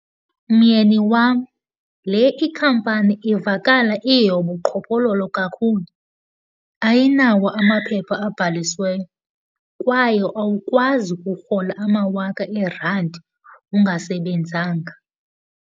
Myeni wam, le ikhampani ivakala iyeyobuqhophololo kakhulu, ayinawo amaphepha abhalisiweyo kwaye awukwazi ukurhola amawaka eerandi ungasebenzanga.